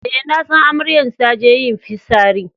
Eh, na san amaryan ta je yin fissari.